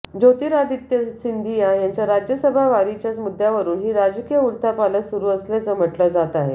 ज्योतिरादित्य सिंधिया यांच्या राज्यसभा वारीच्याच मुद्द्यावरुन ही राजकीय उलथापालथ सुरु असल्याचं म्हटलं जात आहे